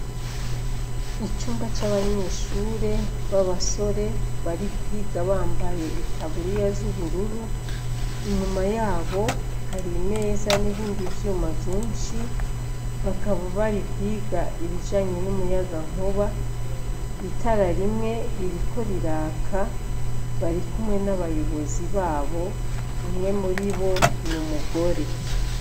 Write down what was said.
Icumba c'abanyeshure b'abasore bari kwiga bambaye itaburiya z'ubururu inyuma yabo hari imeza n'ibindi vyuma vyinshi bakaba bari kwiga ibijanye n'umuyagankuba, itara rimwe ririko riraka bari kumwe n'abayobozi babo umwe muri bo ni umugore.